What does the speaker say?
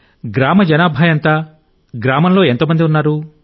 గ్రామ జనాభా ఎంత గ్రామంలో ఎంత మంది ఉన్నారు